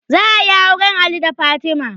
Za ayi auren ali da fatima